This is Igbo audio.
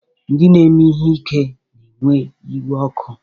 Ndị na-eme ihe ike na-ewe iwe ọkụ.